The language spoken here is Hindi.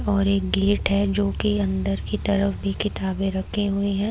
और एक गेट है जो कि अन्दर की तरफ भी किताबें रखे हुई है।